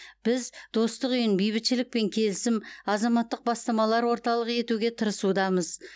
біз достық үйін бейбітшілік пен келісім азаматтық бастамалар орталығы етуге тырысудамыз